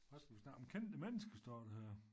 Hvad skal vi snakke om kendte mennesker står der her